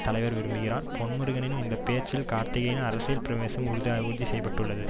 தலைவர் விரும்புகிறார் பொன்முருகனின் இந்த பேச்சில் கார்த்திக்கின் அரசியல் பிரவேசம் உறுதிசெய்யப்பட்டுள்ளது